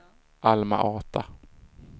Alma-Ata